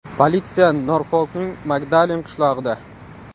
Politsiya Norfolkning Magdalen qishlog‘ida.